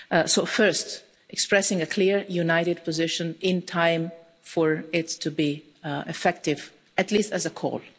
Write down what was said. So first we are expressing a clear, united position in time for it to be effective at least as a call